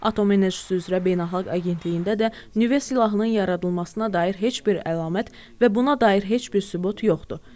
Atom Enerjisi üzrə Beynəlxalq Agentliyində də nüvə silahının yaradılmasına dair heç bir əlamət və buna dair heç bir sübut yoxdur.